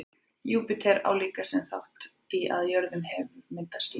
júpíter á líka sinn þátt í að á jörðinni hefur myndast líf